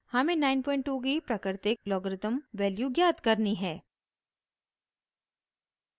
हमें 92 की प्राकृतिक लॉगरिथ्म वैल्यू ज्ञात करनी है